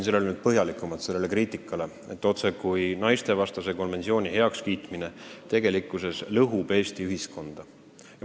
Ma vastaksin põhjalikumalt sellele kriitikale, et naistevastast vägivalda puudutava konventsiooni heakskiitmine tegelikult lõhub Eesti ühiskonda.